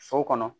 So kɔnɔ